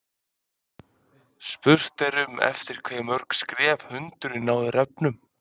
Spurt er um eftir hve mörg skref hundurinn nái refnum.